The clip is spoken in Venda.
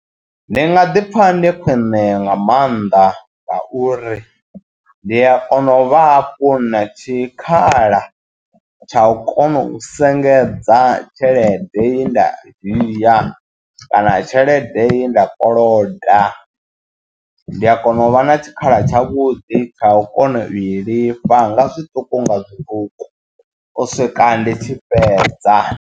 Ndi nga ḓi pfha ndi khwine nga maanḓa ngauri ndi a kona u vha hafhu na tshikhala tsha u kona u sengedza tshelede ye nda dzhia kana tshelede ye nda koloda ndi a kona u vha na tshikhala tshavhuḓi kha u kona u i lifha nga zwiṱuku nga zwiṱuku u swika ndi tshi fhedza.